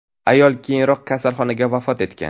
Ayol keyinroq kasalxonada vafot etgan .